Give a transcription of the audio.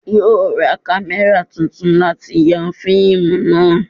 Yóò ra kámẹ́rà titun láti ya fíìmù náà